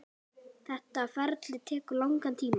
Þetta ferli tekur langan tíma.